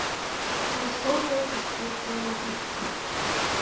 высокое искусство запусти